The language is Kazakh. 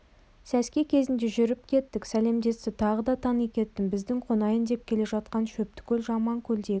сәске кезінде жүріп кеттік сәлемдесті тағы да тани кеттім біздің қонайын деп келе жатқан шөптікөл жаманкөлдегі